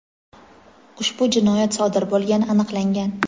ushbu jinoyat sodir bo‘lgani aniqlangan.